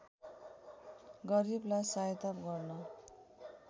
गरिबलाई सहायता गर्न